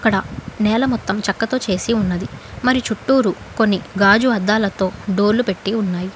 న నేల మొత్తం చెక్కతో చేసి ఉన్నది మరి చుట్టూరు కొన్ని గాజు అద్దాలతో డోర్లు పెట్టి ఉన్నాయి.